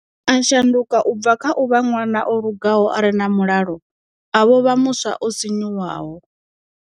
A shanduka u bva kha u vha ṅwana o lugaho are na mulalo a vho vha muswa o sinyuwaho.